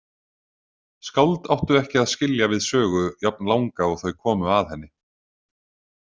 Skáld áttu ekki að skilja við sögu jafnlanga og þau komu að henni.